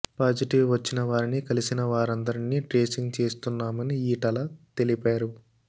positive వచ్చిన వారిని కలిసిన వారందరినీ ట్రేసింగ్ చేస్తున్నామని ఈటల తెలిపారు